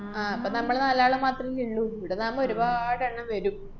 ആഹ് അപ്പ നമ്മള് നാലാളും മാത്രല്ലേ ഇള്ളു, ഇവിന്നാവുമ്പ ഒരുപാടെണ്ണം വരും.